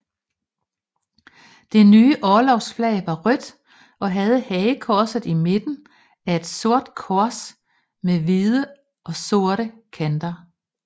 Det nye orlogsflag var rødt og havde hagekorset i midten af et sort kors med hvide og sorte kanter